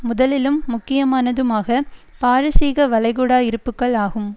முதலிலும் முக்கியமானதும் ஆக பாரசீக வளைகுடா இருப்புக்கள் ஆகும்